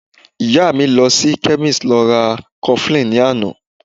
Ìyá mi lọ sí chemist lọ ra cofflin ní àná